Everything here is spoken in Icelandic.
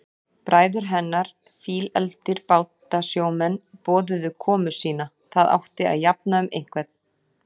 Bræður hennar, fílefldir bátasjómenn, boðuðu komu sína, það átti að jafna um einhvern.